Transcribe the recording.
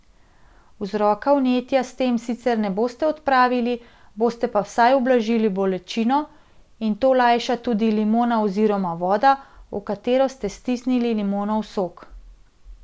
Vzroka vnetja s tem sicer ne boste odpravili, boste pa vsaj ublažili bolečino, in to lajša tudi limona oziroma voda, v katero ste stisnili limonov sok.